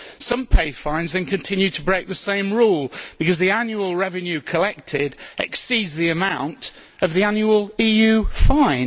Some pay fines then continue to break the same rule, because the annual revenue collected exceeds the amount of the annual EU fine.